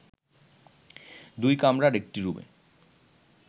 দুই কামরার একটি রুমে